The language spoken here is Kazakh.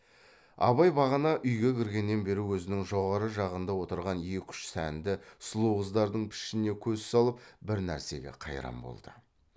абай бағана үйге кіргеннен бері өзінің жоғары жағында отырған екі үш сәнді сұлу қыздардың пішініне көз салып бір нәрсеге қайран болды